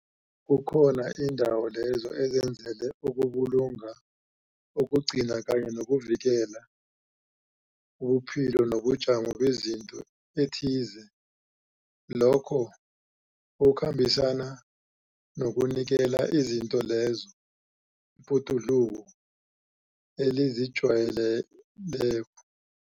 Kukhona indawo lezo ezenzelwe ukubulunga, ukugcina kanye nokuvikela ubuphilo nobujamo bezinto ethize lokho okukhambisana nokunikela izinto lezo ibhoduluko elizijwaleyeleko.